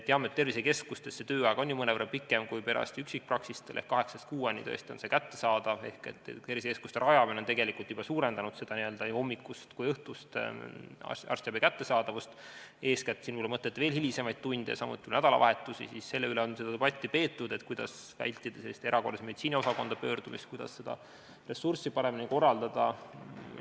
Teame, et tervisekeskustes on tööaeg mõnevõrra pikem kui perearsti üksikpraksistel ehk kaheksast kuueni tõesti on see kättesaadav, seega tervisekeskuste rajamine on tegelikult juba suurendanud nii hommikust kui ka õhtust arstiabi kättesaadavust, Kui mõtlete eeskätt hilisemaid tunde, samuti nädalavahetusi, siis selle üle, kuidas vältida erakorralise meditsiini osakonda pöördumist ja kuidas ressurssi paremini korraldada, on debatti peetud.